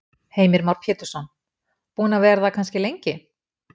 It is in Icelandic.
Heimir Már Pétursson: Búin að vera það kannski lengi?